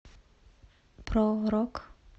про рок